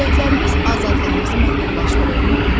Məcburiyyətlərimiz azadlığımızı məhdudlaşdırırmı?